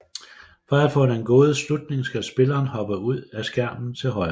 For at få den gode slutning skal spilleren hoppe ud af skærmen til højre